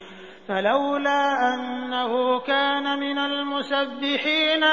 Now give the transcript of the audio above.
فَلَوْلَا أَنَّهُ كَانَ مِنَ الْمُسَبِّحِينَ